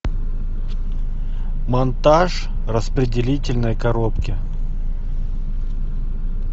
монтаж распределительной коробки